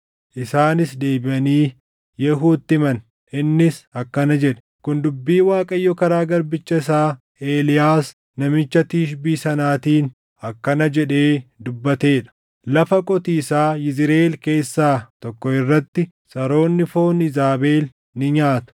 Isaanis deebiʼanii Yehuutti himan; innis akkana jedhe; “Kun dubbii Waaqayyo karaa garbicha isaa Eeliyaas namicha Tishbii sanaatiin akkana jedhee dubbatee dha: Lafa qotiisaa Yizriʼeel keessaa tokko irratti saroonni foon Iizaabel ni nyaatu.